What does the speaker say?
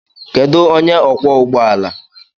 Kedu onye ọkwọ ụgbọ ala?